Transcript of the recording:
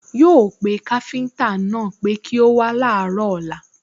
Yóò pé káfíńtà náà pé kí ó wá láàárọ̀ ọ̀lla